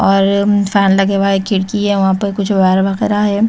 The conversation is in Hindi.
और उम फैन लगा हुआ है खिड़की है वहां पर कुछ वायर वगैरा है।